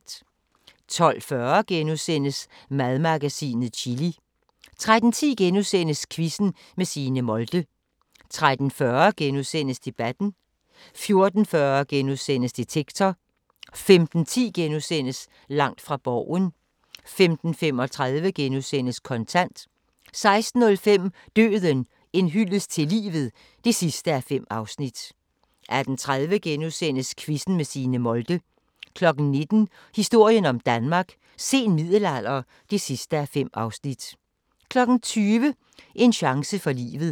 12:40: Madmagasinet – Chili * 13:10: Quizzen med Signe Molde * 13:40: Debatten * 14:40: Detektor * 15:10: Langt fra Borgen * 15:35: Kontant * 16:05: Døden – en hyldest til livet (5:5) 18:30: Quizzen med Signe Molde * 19:00: Historien om Danmark: Sen middelalder (5:5) 20:00: En chance for livet